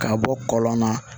K'a bɔ kɔlɔn na